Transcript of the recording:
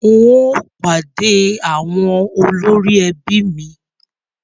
Ń yìí ó pàdé àwọn ẹbí mi